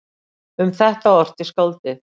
Um þetta orti skáldið